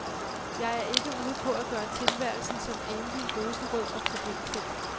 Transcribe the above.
Jeg er ikke ude på at gøre tilværelsen som enlig rosenrød og problemfri.